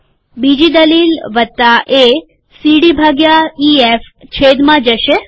બીજી દલીલ ૧ સીડી ભાગ્યા ઈએફ છેદમાં જશે છે